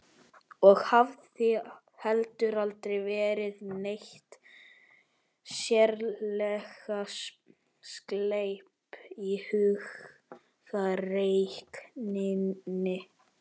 Og hafði heldur aldrei verið neitt sérlega sleip í hugarreikningi.